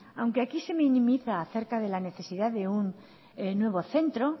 aunque aquí se minimiza acerca de la necesidad de un nuevo centro